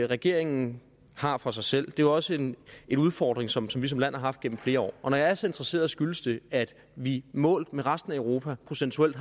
regeringen har for sig selv det er også en en udfordring som vi som land har haft gennem flere år og når jeg er så interesseret skyldes det at vi målt med resten af europa procentuelt